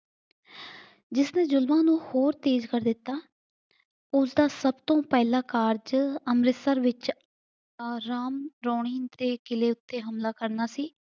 ਜਿਸ ਨੇ ਜ਼ੁਲਮਾਂ ਨੂੰ ਹੋਰ ਤੇਜ਼ ਕਰ ਦਿੱਤਾ। ਉਸਦਾ ਸਭ ਤੋਂ ਪਹਿਲਾਂ ਕਾਰਜ ਅੰਮ੍ਰਿਤਸਰ ਵਿੱਚ ਆਹ ਰਾਮ ਰੌਣੀ ਦੇ ਕਿਲੇ ਉੱਤੇ ਹਮਲਾ ਕਰਨਾ ਸੀ।